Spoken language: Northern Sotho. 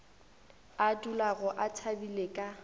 a dulago a thabile ka